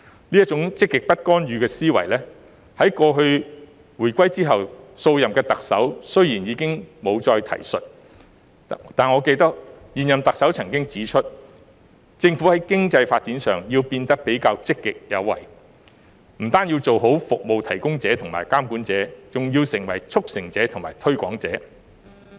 這種"積極不干預"的思維，雖然自回歸後，數任特首已經不再提述，但我記得現任特首曾經指出，"政府在經濟發展上，要變得比較積極有為，不單要做好'服務提供者'和'監管者'，還要成為'促成者'及'推廣者'。